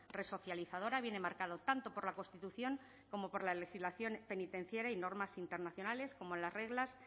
resocializadora viene marcado tanto por la constitución como por la legislación penitenciaria y normas internacionales como las reglas